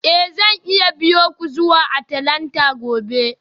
Eh zan iya biyo ku zuwa Atlanta gobe